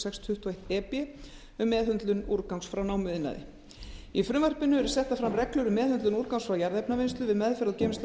sex tuttugu og eitt e b um meðhöndlun úrgangs frá námuiðnaði í frumvarpinu eru settar fram reglur um meðhöndlun úrgangs frá jarðefnavinnslu við meðferð og geymslu á